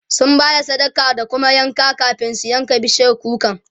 sun Bada sadaka da kuma yanka kamin su yanka bishiyar kukar